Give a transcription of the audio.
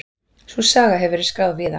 Sú saga hefur verið skráð víða.